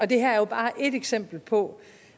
det her er jo bare et eksempel på